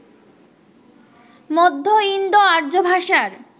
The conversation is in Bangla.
মধ্য ইন্দো আর্য ভাষার